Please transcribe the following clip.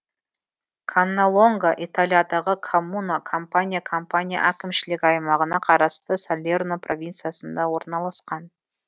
канналонга италиядағы коммуна кампания кампания әкімшілік аймағына қарасты салерно провинциясында орналасқан